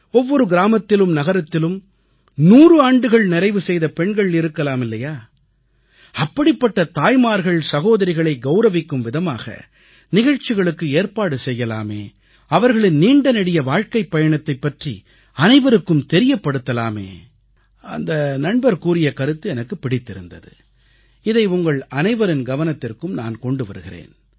ஒவ்வொரு கிராமத்திலும் நகரத்திலும் 100 ஆண்டுகள் நிறைவு செய்த பெண்கள் இருக்கலாம் இல்லையா அப்படிப்பட்ட தாய்மார்கள்சகோதரிகளை கவுரவிக்கும் விதமாக நிகழ்ச்சிகளுக்கு ஏற்பாடு செய்யலாமே அவர்களின் நீண்டநெடிய வாழ்க்கைப் பயணத்தைப் பற்றி அனைவருக்கும் தெரியப்படுத்தலாமே அந்த நண்பர் கூறிய கருத்து எனக்குப் பிடித்திருந்தது இதை உங்கள் அனைவரின் கவனத்திற்கும் நான் கொண்டு வருகிறேன்